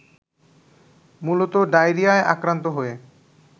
মূলত ডায়রিয়ায় আক্রান্ত হয়ে